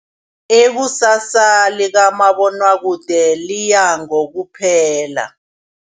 Ikusasa likamabonwakude liya ngokuphela.